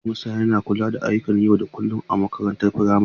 Hedimasta yana kula da ayyukan yau da kullun a makarantar firamare.